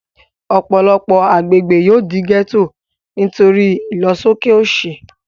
Ọ̀pọ̀lọpọ̀ agbègbè yóò di gẹ́ẹ́tò nítorí ìlọsóké òṣì